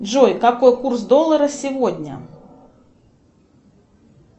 джой какой курс доллара сегодня